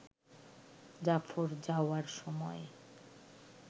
জাফর যাওয়ার সময়